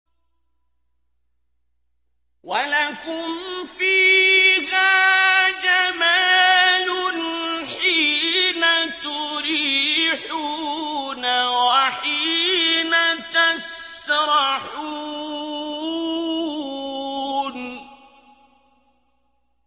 وَلَكُمْ فِيهَا جَمَالٌ حِينَ تُرِيحُونَ وَحِينَ تَسْرَحُونَ